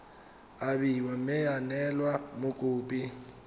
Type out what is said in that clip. abiwa mme ya neelwa mokopi